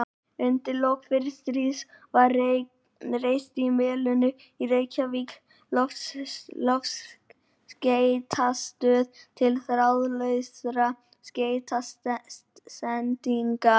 Undir lok fyrra stríðs var reist á Melunum í Reykjavík loftskeytastöð til þráðlausra skeytasendinga.